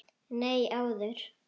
Nei, áður.